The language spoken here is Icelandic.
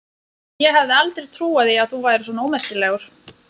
Ég hefði aldrei trúað því að þú værir svona ómerkilegur!